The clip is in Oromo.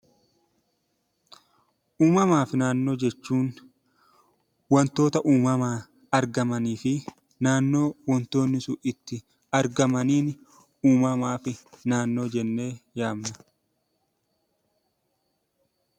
Uumamaa fi naannoo jechuun wantoota uumamaan argamanii fi naannoo wanti sun itti argamaniin 'Uumamaa fi naannoo' jennee yaamna.